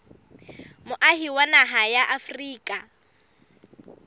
moahi wa naha ya afrika